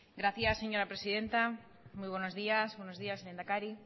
gracias señora presidenta muy buenos días buenos días lehendakari